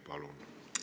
Palun!